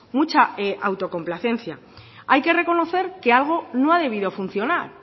mucha autocomplacencia hay que reconocer que algo no ha debido funcionar